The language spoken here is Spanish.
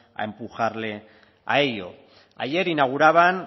a empujarle a ello ayer inauguraban